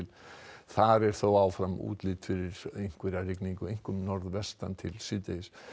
þar er þó áfram útlit fyrir einhverja rigningu einkum norðvestan til síðdegis